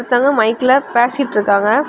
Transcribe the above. ஒருத்தவங்க மைக்ல பேசிட்டு இருக்காங்க.